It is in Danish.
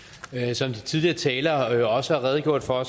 som de tidligere talere også har redegjort for